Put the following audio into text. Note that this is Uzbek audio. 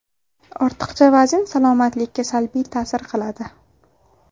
Ortiqcha vazn salomatlikka salbiy ta’sir qiladi.